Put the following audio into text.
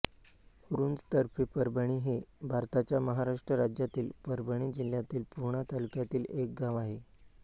रुंज तर्फे परभणी हे भारताच्या महाराष्ट्र राज्यातील परभणी जिल्ह्यातील पूर्णा तालुक्यातील एक गाव आहे